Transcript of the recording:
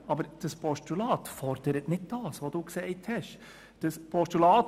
Aber das Postulat fordert nicht das, was Grossrätin Schmidhauser gesagt hat.